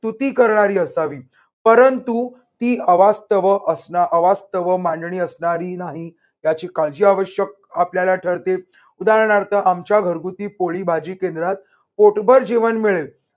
स्तुती करणारी असावी, परंतु ती अवास्तव असणं अवास्तव मांडणी असणारी नाही. त्याची काळजी आवश्यक आपल्याला ठरते. उदाहरणार्थ आमच्या घरगुती पोळी भाजी केंद्रात पोटभर जेवण मिळेल